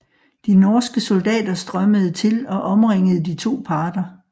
De norske soldater strømmede til og omringede de to parter